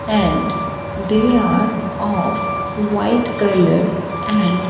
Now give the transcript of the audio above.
and they are of white colour and--